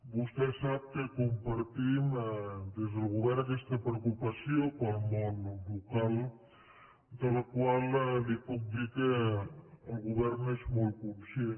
vostè sap que compartim des del govern aquesta preocupació pel món local de la qual li puc dir que el govern és molt conscient